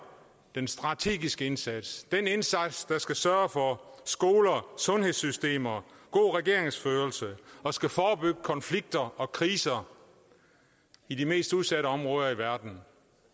den strategiske indsats den indsats der skal sørge for skoler sundhedssystemer og god regeringsførelse og skal forebygge konflikter og kriser i de mest udsatte områder i verden